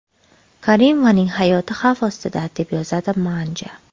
Karimovaning hayoti xavf ostida”, deb yozadi Manja.